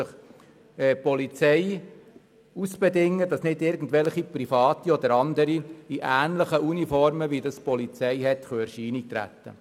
Die Polizei bedingt sich aus, dass nicht irgendwelche privaten oder anderen Personen in polizeiähnlichen Uniformen in Erscheinung treten können.